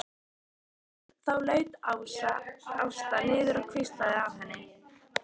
Þá laut Ásta niður og hvíslaði að henni.